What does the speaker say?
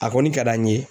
A kɔni ka d'an ye